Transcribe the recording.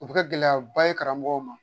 O bi kɛ gɛlɛyaba ye karamɔgɔw ma.